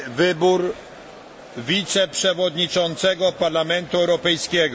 wybór wiceprzewodniczącego Parlamentu Europejskiego